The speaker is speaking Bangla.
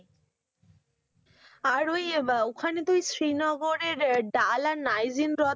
আর ওই আহ ওখানে তুই শ্রীনগরের ডাল আর নাইজিন হ্রদ,